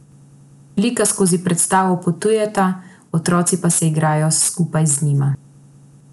Lika skozi predstavo potujeta, otroci pa se igrajo skupaj z njima.